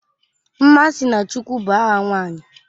Nmasinachukwu bụ aha nwanyị